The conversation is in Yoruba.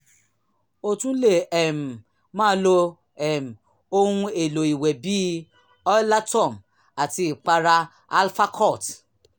a tún lè um máa lo um ohun-èlò ìwẹ̀ bíi oilatum àti ìpara alfacort